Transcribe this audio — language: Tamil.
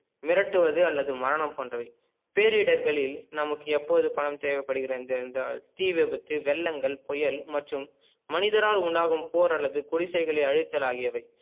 மிரட்டுவது அல்லது மரணம் போன்றவை பேரிடர்களில் நமக்கு எப்போது பணம் தேவைப்படுகிறது என்று என்றால் தீ விபத்து வெள்ளங்கள் புயல் மற்றும் மனிதரால் உண்டாகும் போர் அல்லது குடிசைகளை அழித்தலாகியவை